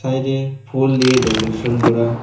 সাইডে ফুল দিয়ে ডেকোরেশন করা।